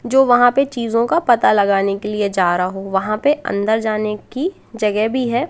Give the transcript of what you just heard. जो वहां पे चीजों का पता लगाने के लिए जा रहा हो वहां पे अन्दर जाने की जगह भी है।